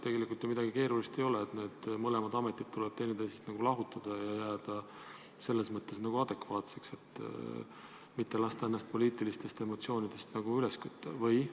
Tegelikult ju midagi keerulist ei ole, need ametid tuleb teineteisest lahutada ja jääda selles mõttes adekvaatseks, mitte lasta ennast poliitilistest emotsioonidest üles kütta?